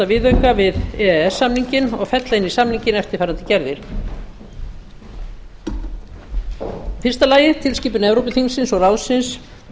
viðauka við e e s samninginn og fella inn í samninginn eftirfarandi gerðir fyrstu tilskipun evrópuþingsins og ráðsins